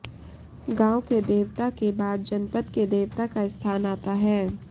गांव के देवता के बाद जनपद के देवता का स्थान आता है